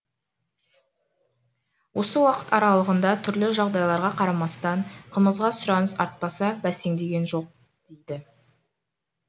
осы уақыт аралығында түрлі жағдайларға қарамастан қымызға сұраныс артпаса бәсеңдеген жоқ дейді